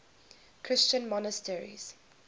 christian monasteries